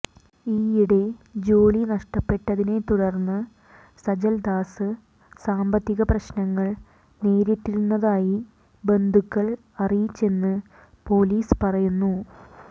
ഈയിടെ ജോലി നഷ്ടപ്പെട്ടതിനെതുടർന്ന് സജൽദാസ് സാമ്പത്തിക പ്രശ്നങ്ങൾ നേരിട്ടിരുന്നതായ് ബന്ധുക്കൾ അറിയിച്ചെന്ന് പൊലീസ് പറയുന്നു